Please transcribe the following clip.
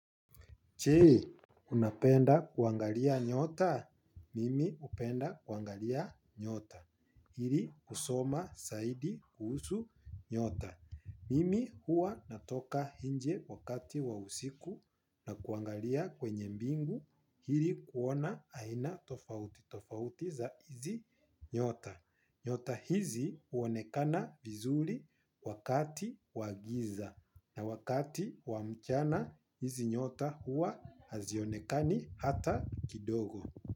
Jee, unapenda kuangalia nyota? Mimi upenda kuangalia nyota. Ili kusoma saidi kuhusu nyota. Mimi huwa natoka inje wakati wa usiku na kuangalia kwenye mbingu hili kuona aina tofauti. Tofautiza hizi nyota. Nyota hizi uonekana vizuri wakati wagiza. Na wakati wamchana hizi nyota huwa hazionekani hata kidogo.